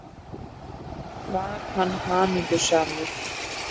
Var hann hamingjusamur?